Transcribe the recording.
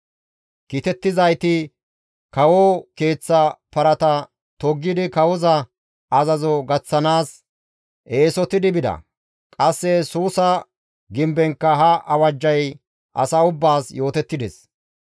Kiitettizayti kawo keeththa parata toggidi kawoza azazo gaththanaas eesotidi bida. Qasse Suusa gimbenkka ha awajjay asa ubbaas yootettides.